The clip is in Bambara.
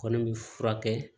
Kɔni bɛ furakɛ